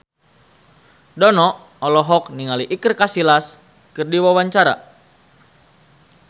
Dono olohok ningali Iker Casillas keur diwawancara